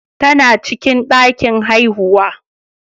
Tana cikin ɗakin haihuwa.